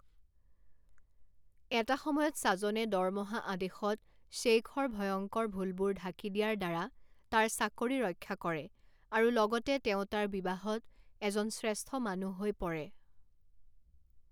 এটা সময়ত ছাজনে দৰমহা আদেশত শ্বেইখৰ ভয়ংকৰ ভুলবোৰ ঢাকি দিয়াৰ দ্বাৰা তাৰ চাকৰি ৰক্ষা কৰে আৰু লগতে তেওঁ তাৰ বিবাহত এজন শ্ৰেষ্ঠ মানুহ হৈ পৰে।